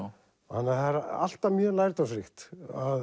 það er alltaf mjög lærdómsríkt